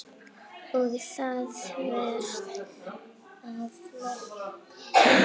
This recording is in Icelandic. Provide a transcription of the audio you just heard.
Og það þvert á flokka.